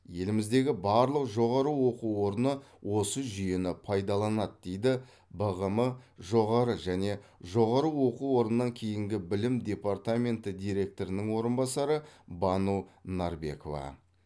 еліміздегі барлық жоғары оқу орны осы жүйені пайдаланады дейді бғм жоғары және жоғары оқу орнынан кейінгі білім департаменті директорының орынбасары бану нарбекова